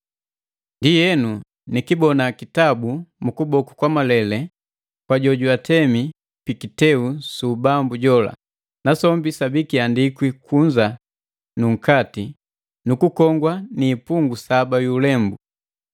Ndienu nikibona kitabu mu kuboku kwa malele kwa jojwatemi pikiteu su ubambu jola, nasombi sabi kiandikwi kunza nu nkati nu kukongwa ni ipungi saba yu ulembu.